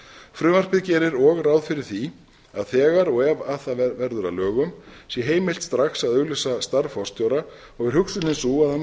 frumvarpið gerir og ráð fyrir því að þegar og ef það verður að lögum sé heimilt strax að auglýsa starf forstjóra og er hugsunin sú að hann